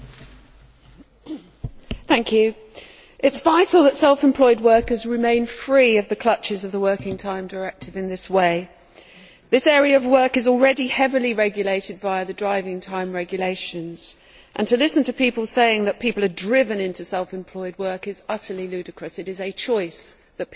Madam President, it is vital that self employed workers remain free of the clutches of the Working Time Directive in this way. This area of work is already heavily regulated via the driving time regulations and to listen to people saying that people are driven into self employed work is utterly ludicrous it is a choice that people make.